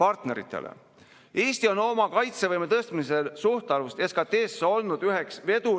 on muutunud, muidugi on, ja on ka muutunud kogu Euroopa ja kogu lääne suhtumine julgeolekusse ja on kõvasti suurenenud panused, on suurenenud ka Eesti panus.